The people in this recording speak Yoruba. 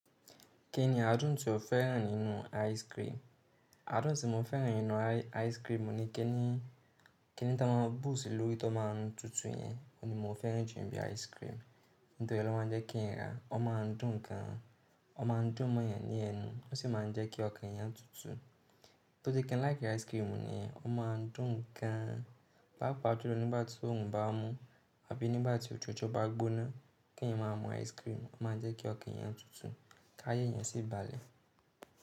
Kí ni adùn tí o fẹ́ràn nínú ice cream? Adùn tí mo fẹ́ràn nínú ice ice cream, ní kí ni, kí ni tá máa bù sí lórí tí ó ma ń tutù yẹn, òní mo fẹ́ràn ju ibi ice cream. Nítorí ọlọ́ má ń jẹ́ kí n ra, ọ ma ń dùn gan, ọ ma ń dùn mọ́yàn ní ẹnu, ó sì ma ń jẹ́ kí ọkàn eyan tutù. Tó je kí n like ice cream ni, ọ ma ń dùn gan, pàápàá ju lọ nígbà tí òòrùn bá mú àbí nígbà tí òtútù bá gbóná, kí n má mú ice cream, ọ ma ń jẹ́ kí ọkàn yẹn tutù kí ayé yẹn sì balẹ̀.